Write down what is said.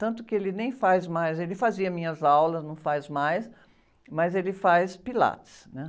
Tanto que ele nem faz mais, ele fazia minhas aulas, não faz mais, mas ele faz Pilates, né?